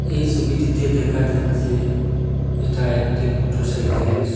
এই সবিটিতে দেখা যাচ্ছে এটা একটি মোটরসাইকেলের শ--